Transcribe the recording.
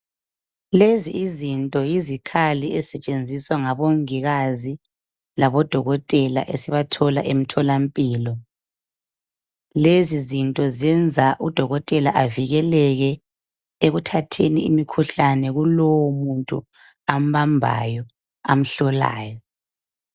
lezi izinto yizikhali ezisetshenziswa ngabongikazi labodokotela esibathola emtholampilo lezizinto zenza udokotela avikeleke ekutheni imikhuhlane kulowo muntu ambambayo amhlolayo